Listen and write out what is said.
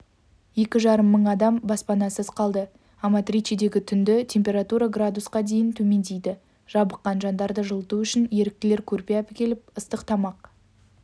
екі жарым мың адам баспанасыз қалды аматричедегі түнгі температура градусқа дейін төмендейді жабыққан жандарды жылыту үшін еріктілер көрпе әкеліп ыстық тамақ